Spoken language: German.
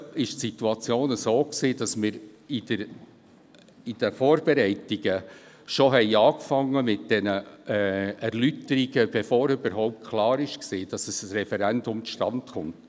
Die Situation war bisher so, dass wir mit den Vorbereitungen der Erläuterungen begonnen hatten, bevor überhaupt klar war, ob ein Referendum zustande kommt.